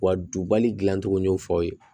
Wa dubali dilan cogo y'o fɔ aw ye